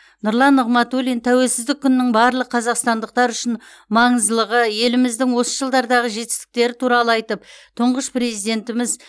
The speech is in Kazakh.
нұрлан нығматулин тәуелсіздік күнінің барлық қазақстандықтар үшін маңыздылығы еліміздің осы жылдардағы жетістіктері туралы айтып тұңғыш президентіміз